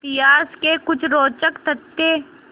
इतिहास के कुछ रोचक तथ्य